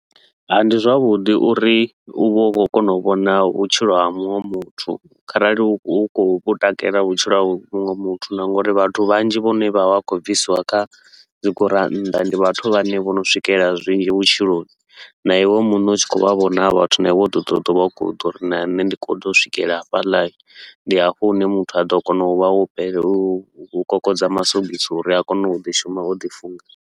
Ndi zwavhuḓi uri u vhe u khou kona u vhona vhutshilo ha muṅwe muthu, kharali u khou vhu takalela vhutshilo hawe muṅwe muthu. Na nga uri vhathu vhanzhi vhane vha vha vha khou bvisiwa kha dzigurannḓa ndi vhathu vhane vho no swikelela zwinzhi vhutshiloni. Na iwe muṋe u tshi khou vha vhona ha vha vhathu, na iwe u ḓo ṱoḓa u vha u ḓo uri na nṋe ndi khou ḓa u swikela hafhaḽa. Ndi hafho hune muthu a ḓo kona u vha wo fhele u u kokodza masogisi uri a kone u ḓi shuma o ḓi funga.